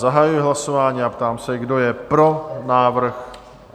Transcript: Zahajuji hlasování a ptám se, kdo je pro návrh?